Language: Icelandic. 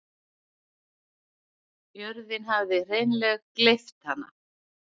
Jörðin hafði hreinleg gleypt hana.